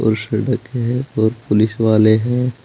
और सड़क है और पुलिस वाले हैं।